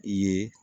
I ye